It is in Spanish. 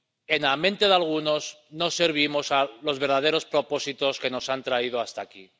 en la mente de algunos, no servimos a los verdaderos propósitos que nos han traído hasta aquí.